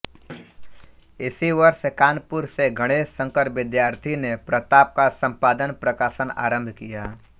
इसी वर्ष कानपुर से गणेश शंकर विद्यार्थी ने प्रताप का संपादनप्रकाशन आरंभ किया